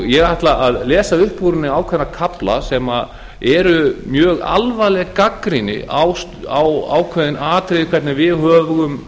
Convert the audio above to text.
ég ætla að lesa upp úr henni ákveðna kafla sem eru mjög alvarleg gagnrýni á ákveðin atriði hvernig við